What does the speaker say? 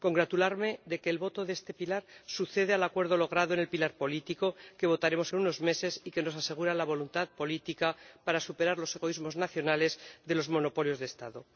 Me congratulo de que la votación de este pilar suceda al acuerdo logrado en el pilar político, que votaremos en unos meses y que nos asegura la voluntad política para superar los egoísmos nacionales de los monopolios de Estado.